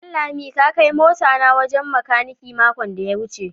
Danlami ka kai mota na wajen makaniki makon da ya wece.